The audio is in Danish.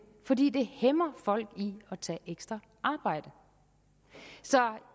fordi det hæmmer folk i at tage ekstra arbejde så